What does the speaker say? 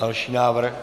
Další návrh.